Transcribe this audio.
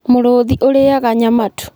Mũrũũthi ũrĩĩaga nyama tu.